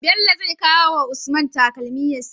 Bello zai kawa usman takalmi ya siya